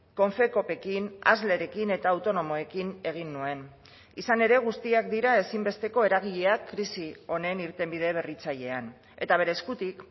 confecoopekin aslerekin eta autonomoekin egin nuen izan ere guztiak dira ezinbesteko eragileak krisi honen irtenbide berritzailean eta bere eskutik